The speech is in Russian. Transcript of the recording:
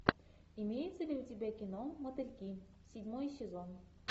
имеется ли у тебя кино мотыльки седьмой сезон